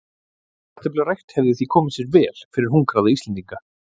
kartöflurækt hefði því komið sér vel fyrir hungraða íslendinga